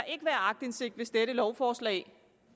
ikke være aktindsigt i hvis dette lovforslag